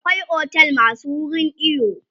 akwai otel masu wurin iyo